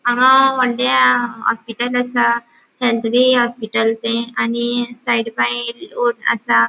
हांगा वोडले हॉस्पिटल असा हेल्थवे होस्पिट्ल ते आणि साइड बाय रोड आसा.